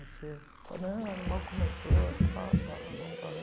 Você fala, não, mal começou, tal pá vamos embora.